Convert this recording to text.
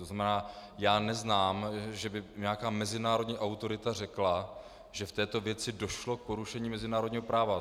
To znamená, že neznám, že by nějaká mezinárodní autorita řekla, že v této věci došlo k porušení mezinárodního práva.